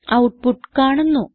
output കാണുന്നു